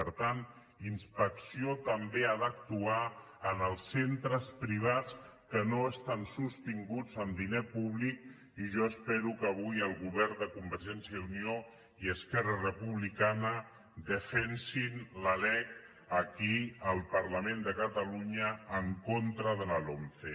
per tant inspecció també ha d’actuar en els centres privats que no estan sostinguts amb diner públic i jo espero que avui el govern de convergència i unió i esquerra republicana defensin la lec aquí al parlament de catalunya en contra de la lomce